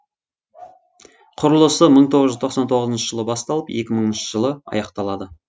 құрылысы мың тоғыз жүз тоқсан тоғызыншы жылы басталып екі мыңыншы жылы аяқталады